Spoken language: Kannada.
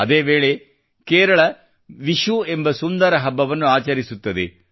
ಅದೇ ವೇಳೆ ಕೇರಳವು ವಿಶು ಎಂಬ ಸುಂದರ ಹಬ್ಬವನ್ನು ಆಚರಿಸುತ್ತದೆ